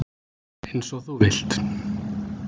Eins og þú vilt.